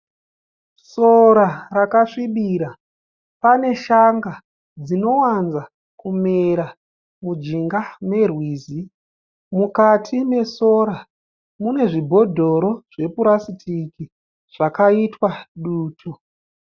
Sora rakasvibira pane shanga dzinowanza kumera mujinga merwizi mukati mesora mune zvibhodoro zvepurastiki zvakaitwa dutu.